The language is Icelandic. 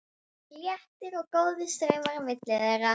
Það voru léttir og góðir straumar á milli þeirra.